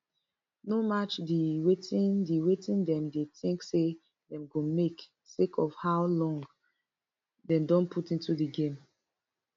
no match di wetin di wetin dem dey tink say dem go make sake of how long dem don put into di game